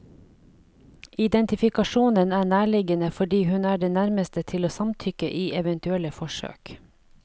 Identifikasjonen er nærliggende fordi hun er den nærmeste til å samtykke i eventuelle forsøk.